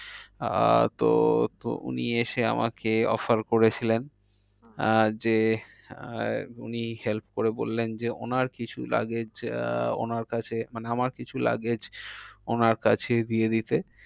আহ তো উনি এসে আমাকে offer করেছিলেন আহ যে আহ উনি help করে বললেন যে ওনার কিছু luggage আহ ওনার কাছে মানে আমার কিছু luggage ওনার কাছে দিয়ে দিতে।